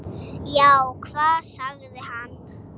Já, hvað sagði hann?